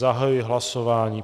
Zahajuji hlasování.